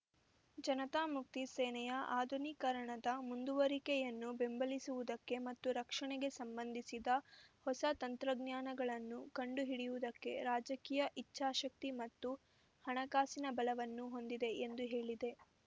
ಜನತಾ ಮುಕ್ತಿ ಸೇನೆಯ ಆಧುನೀಕರಣದ ಮುಂದುವರಿಕೆಯನ್ನು ಬೆಂಬಲಿಸುವುದಕ್ಕೆ ಮತ್ತು ರಕ್ಷಣೆಗೆ ಸಂಬಂಧಿಸಿದ ಹೊಸ ತಂತ್ರಜ್ಞಾನಗಳನ್ನು ಕಂಡುಹಿಡಿಯುವುದಕ್ಕೆ ರಾಜಕೀಯ ಇಚ್ಛಾಶಕ್ತಿ ಮತ್ತು ಹಣಕಾಸಿನ ಬಲವನ್ನು ಹೊಂದಿದೆ ಎಂದು ಹೇಳಿದೆ